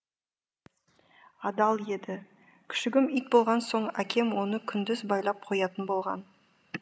адал еді күшігім ит болған соң әкем оны күндіз байлап қоятын болған